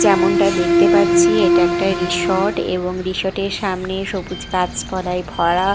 যেমনটা দেখতে পাচ্ছি এটা একটা রিসর্ট এবং রিসর্ট -এর সামনে সবুজ গাছপালায় ভরা।